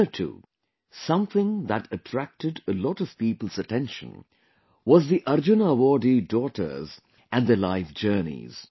Here too, something that attracted a lot of people's attention was the Arjuna Awardee daughters and their life journeys